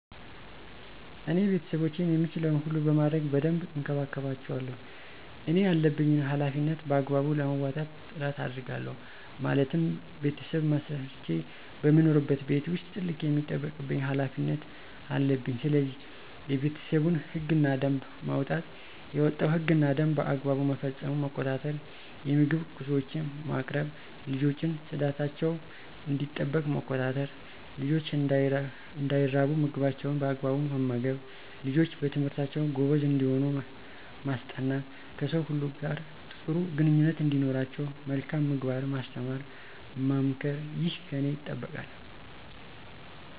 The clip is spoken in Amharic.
እኔ ቤተሰቦቼን የምችለዉን ሁሉ በማድረግ በደንብ እንከባከባቸዋለሁ እኔ ያለብኝን ሀላፊነት በአግባቡ ለመወጣትም ጥረት አደርጋለሁ ማለትም "ቤተሰብ መስርቼ በምኖርበት ቤት ዉስጥ ትልቅ የሚጠበቅብኝ ሀላፊነት" አለብኝስለዚህ፦ የቤተሰቡን ህግ እና ደንብ ማዉጣት፣ የወጣዉ ህግ እና ደንብ በአግባቡ መፈፀሙን መቆጣጠር፣ የምግብ ቁሶችን ማቅረብ፣ ልጆችን ፅዳታቸዉ እንዲጠበቅ መቆጣጠር፣ ልጆች እንዳይራቡ ምግባቸዉን በአግባቡ መመገብ፣ ልጆች በትምህርታቸዉ ጎበዝ እንዲሆኑ ማስጠናት፣ ከሰዉ ሁሉ ጋር ጥሩ ግንኙነት እንዲኖራቸዉ መልካም ምግባርን ማስተማር መምከር ይህ ከኔ ይጠበቃል።